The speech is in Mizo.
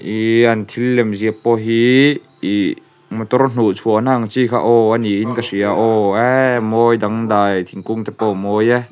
thil lem ziah pawh hi ih motor hnuhchhuahna ang chi kha aww a ni in ka hria a aww eee a mawi dangdai thingkung te pawh a mawi e.